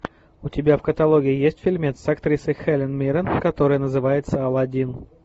у тебя в каталоге есть фильмец с актрисой хелен миррен который называется алладин